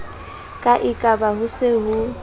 ka ekaba ho se ho